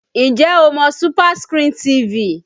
Ǹjẹ́ o mọ SuperScreen TV?